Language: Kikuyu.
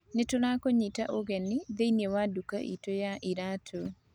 Nĩ tũrakũnyita ũgeni thĩinĩ wa nduka iitũ ya iraatũ.